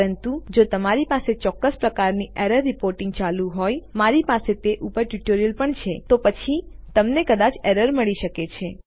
પરંતુ જો તમારી પાસે ચોક્કસ પ્રકારની એરર રીપોર્ટીંગ ચાલુ હોય મારી પાસે તે ઉપર ટ્યુટોરીયલ પણ છે તો પછી તમને કદાચ એરર મળી શકે છે